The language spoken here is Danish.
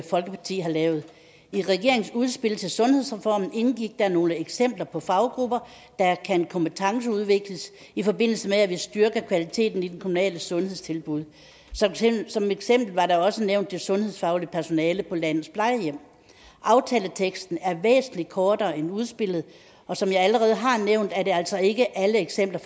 folkeparti har lavet i regeringens udspil til sundhedsreform indgik der nogle eksempler på faggrupper der kan kompetenceudvikles i forbindelse med at vi styrker kvaliteten i de kommunale sundhedstilbud som eksempel var der også nævnt det sundhedsfaglige personale på landets plejehjem aftaleteksten er væsentlig kortere end udspillet og som jeg allerede har nævnt er det altså ikke alle eksempler